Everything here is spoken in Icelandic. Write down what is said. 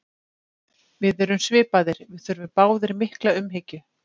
Við erum svipaðir, við þurfum báðir mikla umhyggju.